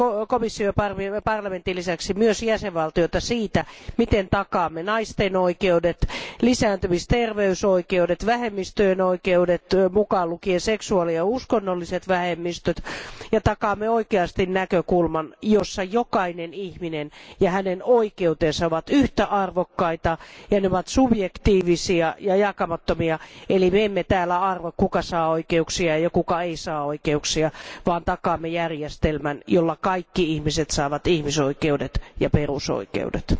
komission ja parlamentin lisäksi myös jäsenvaltioiden vastuuta siitä, miten takaamme naisten oikeudet, lisääntymis ja terveysoikeudet, vähemmistöjen oikeudet, mukaan lukien seksuaali ja uskonnolliset vähemmistöt, ja takaamme oikeasti näkökulman, jossa jokainen ihminen ja hänen oikeutensa ovat yhtä arvokkaita ja ne ovat subjektiivisia ja jakamattomia, eli me emme täällä arvo, kuka saa oikeuksia ja kuka ei saa oikeuksia, vaan takaamme järjestelmän, jolla kaikki ihmiset saavat ihmisoikeudet ja perusoikeudet.